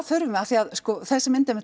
þurfum við af því að sko þessi mynd